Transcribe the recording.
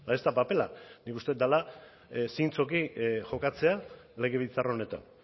ez da papela nik uste dut dela zintzoki jokatzea legebiltzar honetan